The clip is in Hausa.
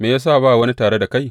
Me ya sa ba wani tare da kai?